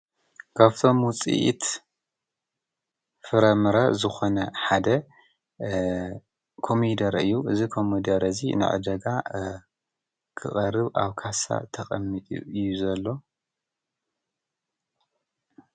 ካብቶም ውፅኢት ፍረምረ ዝኾነ ሓደ ኮሚደረ እዩ፡፡ እዚ ኮሚደረ እዚ ንዕዳጋ ክቐርብ ኣብ ካሳ ተቐሚጡ እዩ ዘሎ፡፡